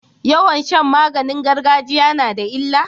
Yawan Shan maganin gargajiya nada illa